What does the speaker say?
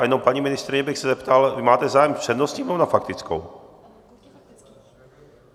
A jenom paní ministryně bych se zeptal - vy máte zájem s přednostním, nebo na faktickou?